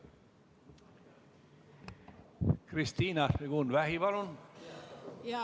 Kristina Šmigun-Vähi, palun!